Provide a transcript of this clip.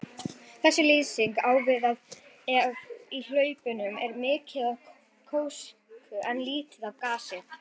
Þessi lýsing á við ef í hlaupunum er mikið af gjósku en lítið af gasi.